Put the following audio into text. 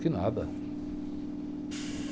Que nada.